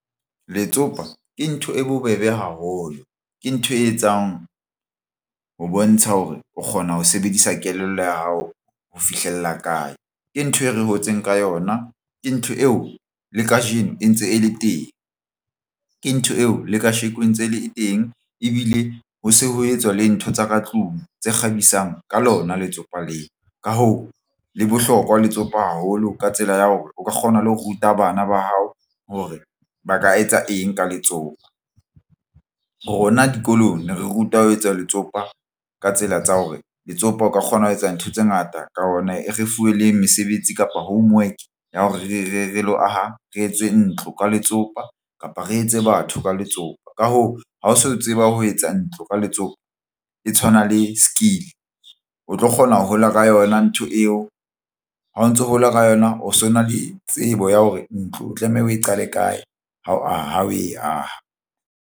Letsopa ke ntho e bobebe haholo ke ntho e etsang ho bontsha hore o kgona ho sebedisa kelello ya hao ho fihlella kae ke ntho e re hotseng ka yona ke ntho eo le kajeno e ntse e le teng. Ke ntho eo le kasheko ntse le teng ebile ho se ho etswa le ntho tsa ka tlung tse kgabisang ka lona letsopa leo. Ka hoo, le bohlokwa letsopa haholo ka tsela ya hore o ka kgona le ho ruta bana ba hao hore ba ka etsa eng ka letsopa rona dikolong ne rutwa ho etsa letsopa ka tsela tsa hore letsopa o ka kgona ho etsa ntho tse ngata ka ona re fuwe le mesebetsi kapa homework ya hore re le ho aha re etse ntlo ka letsopa kapa re etse batho ka letsopa. Ka hoo, ha o so tseba ho etsa ntlo ka letsopa e tshwana le skill o tlo kgona ho hola ka yona ntho eo ha o ntso hola ka yona o so na le tsebo ya hore ntlo o tlameha o e qale kae ha o aha o e aha.